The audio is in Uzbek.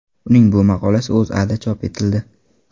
Uning bu maqolasi O‘zAda chop etildi .